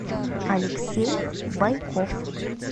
алексей байков